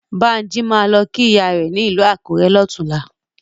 Bánjí máa lọ kí ìyá rẹ̀ ní ìlú Akurẹ lọ́tùnlá.